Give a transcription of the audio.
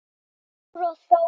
Dóra og Þór.